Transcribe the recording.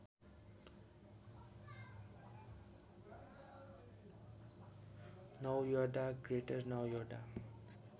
Noida Greater Noida